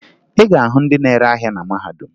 Ị ga-ahụ ndị na-ere ahịa na mahadum